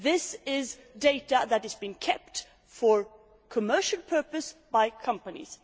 This is data that has been kept for commercial purposes by companies.